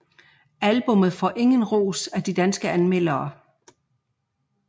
Albummet får igen ros af de danske anmeldere